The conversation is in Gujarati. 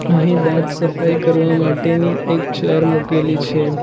અહીં દાંત સફાઈ કરવા માટેની એક ચેર મુકેલી છે.